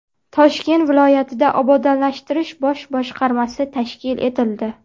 Toshkent viloyatida Obodonlashtirish bosh boshqarmasi tashkil etildi.